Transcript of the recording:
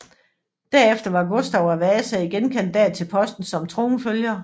Derefter var Gustav af Wasa igen kandidat til posten som tronfølger